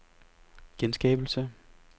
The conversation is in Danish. genskabelse